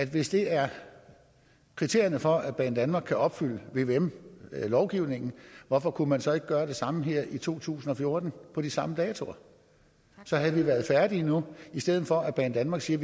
hvis det er kriterierne for at banedanmark kan opfylde vvm lovgivningen hvorfor kunne man så ikke gøre det samme her i to tusind og fjorten på de samme datoer så havde vi været færdige nu i stedet for at banedanmark siger